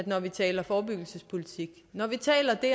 når vi taler forebyggelsespolitik når vi taler det